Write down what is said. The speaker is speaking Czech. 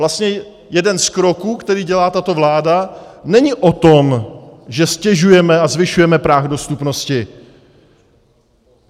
Vlastně jeden z kroků, který dělá tato vláda, není o tom, že ztěžujeme a zvyšujeme práh dostupnosti.